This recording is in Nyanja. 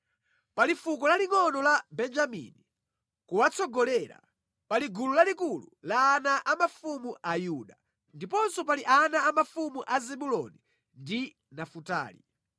Pali fuko lalingʼono la Benjamini, kuwatsogolera, pali gulu lalikulu la ana a mafumu a Yuda, ndiponso pali ana a mafumu a Zebuloni ndi Nafutali.